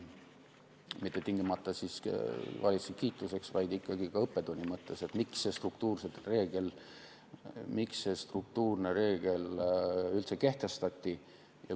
Mitte tingimata valitsuse kiituseks, vaid ikkagi ka õppetunni mõttes, et miks struktuurne reegel üldse kehtestati.